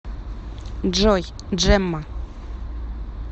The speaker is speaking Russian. джой джемма